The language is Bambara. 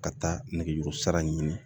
Ka taa nɛgɛjuru sira ɲini